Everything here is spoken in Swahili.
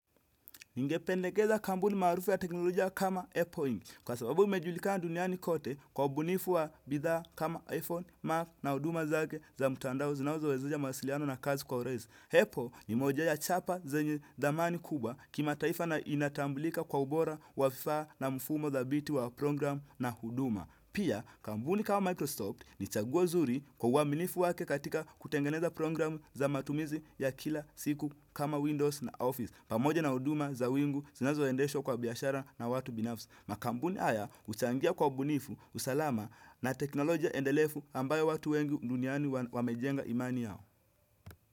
Ningependekeza kampuni maarufu ya teknolojia kama Apple Inc. Kwa sababu imejulikana duniani kote kwa ubunifu wa bidhaa kama iPhone, Mac na huduma zake za mtandao zinazowezesha mawasiliano na kazi kwa urahisi. Apple ni moja ya chapa zenye dhamani kubwa kimataifa na inatambulika kwa ubora wa fifa na mfumo dhabiti wa program na huduma. Pia, kampuni kama Microsoft ni chaguo zuri kwa uaminifu wake katika kutengeneza program za matumizi ya kila siku kama Windows na Office. Pamoja na huduma za wingu zinazoendeshwa kwa biashara na watu binafsi. Makampuni haya huchangia kwa ubunifu, usalama na teknolojia endelevu ambayo watu wengi duniani wamejenga imani yao.